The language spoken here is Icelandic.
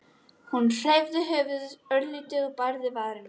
Hún hreyfði höfuðið örlítið og bærði varirnar.